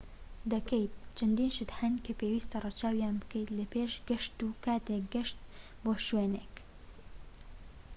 چەندین شت هەن کە پێویستە ڕەچاویان بکەیت لە پێش گەشت و کاتێک گەشت بۆ شوێنێک ‎دەکەیت